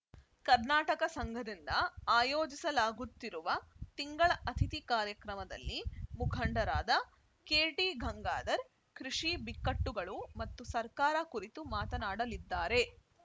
ಕರ್ನಾಟಕ ಸಂಘದಿಂದ ಆಯೋಜಿಸಲಾಗುತ್ತಿರುವ ತಿಂಗಳ ಅತಿಥಿ ಕಾರ್ಯಕ್ರಮದಲ್ಲಿ ಮುಖಂಡರಾದ ಕೆ ಟಿ ಗಂಗಾಧರ್‌ ಕೃಷಿ ಬಿಕ್ಕಟ್ಟುಗಳು ಮತ್ತು ಸರ್ಕಾರ ಕುರಿತು ಮಾತನಾಡಲಿದ್ದಾರೆ